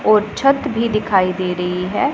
और छत भी दिखाई दे रही हैं।